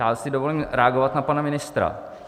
Já si dovolím reagovat na pana ministra.